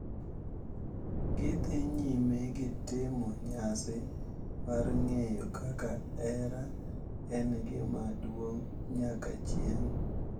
Gidhi nyime gi timo nyasi mar ng’eyo kaka hera en gima duong’ nyaka chieng’,